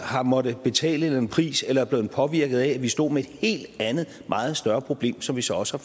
har måttet betale en pris eller er blevet påvirket af at vi stod med et helt andet meget større problem som vi så også